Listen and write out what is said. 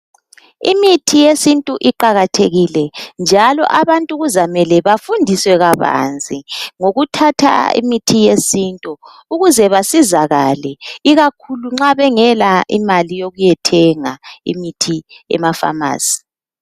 Imithi yesintu iqakathekile njalo abantu kuzamele bafundiswe kabanzi ngokuthatha imithi yesintu ukuze basizakale ikakhulu nxa bengela imali yokuyethenga imithi emapharmacy .